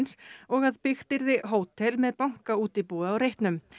og að byggt yrði hótel með bankaútibúi á reitnum